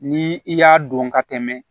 Ni i y'a don ka tɛmɛ